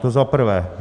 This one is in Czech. To za prvé.